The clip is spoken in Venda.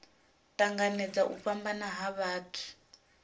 tanganedza u fhambana ha vhathu